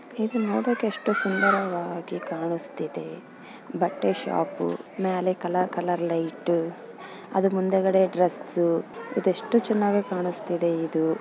ಇದು ನೋಡಕ್ಕೆ ಎಷ್ಟು ಸುಂದರವಾಗಿ ಕಾಣುಸ್ತಾ ಇದೆ ಬಟ್ಟೆ ಶಾಪು ಮೇಲೆ ಕಲರ್ ಕಲರ್ ಲೈಟು ಅದರ ಮುಂದಗಡೆ ಡ್ರೆಸ್ಸು ಇದು ಎಷ್ಟು ಚೆನ್ನಾಗಿ ಕಾಣುಸ್ತಿದೆ ಇದು.